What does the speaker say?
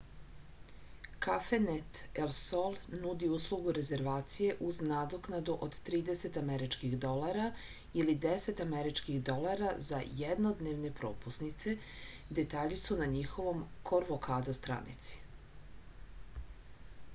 cafenet el sol nudi uslugu rezervacije uz nadoknadu od 30 američkih dolara ili 10 američkih dolara za jednodnevne propusnice detalji su na njihovoj korkovado stranici